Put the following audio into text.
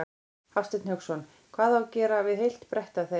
Hafsteinn Hauksson: Hvað á að gera við heilt bretti af þeim?